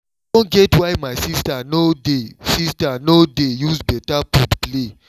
i don get why my sister no dey sister no dey use better food play o